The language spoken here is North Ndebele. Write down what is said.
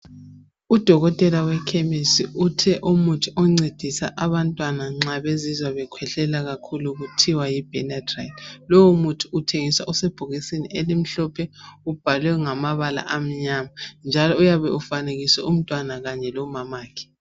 Udokotela wekhemisi uthe umuthi oncedisa abantwana nxa bezizwa bekhwehlela kakhulu, kuthiwa yiBenadryl. Lowomuthi uthengiswa usebhokisini elimhlophe, ubhalwe ngamabala amnyama. Njalo uyabe ufanekiswe umntwana, kanye lomama wakhe,